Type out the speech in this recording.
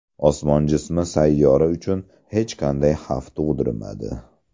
Osmon jismi sayyora uchun hech qanday xavf tug‘dirmadi.